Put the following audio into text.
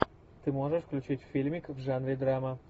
ты можешь включить фильмик в жанре драма